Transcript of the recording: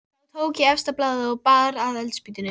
Umræðunni um eilífðarmálið var greinilega ekki lokið.